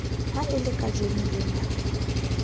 ha e le kajeno lena